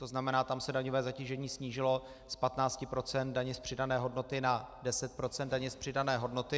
To znamená, tam se daňové zatížení snížilo z 15 % daně z přidané hodnoty na 10 % daně z přidané hodnoty.